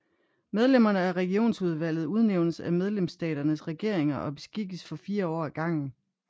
Medlemmerne af Regionsudvalget udnævnes af medlemsstaternes regeringer og beskikkes for fire år ad gangen